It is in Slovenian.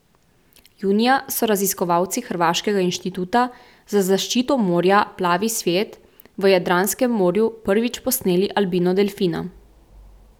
Junija so raziskovalci hrvaškega inštituta za zaščito morja Plavi svijet v Jadranskem morju prvič posneli albino delfina.